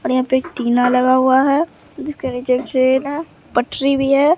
और यहां पे एक टिना लगा हुआ है जिसके नीचे एक छेद है पटरी भी है।